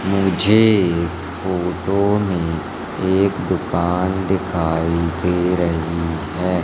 मुझे इस फोटो में एक दुकान दिखाई दे रही है।